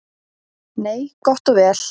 Nei, gott og vel.